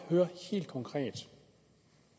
at høre helt konkret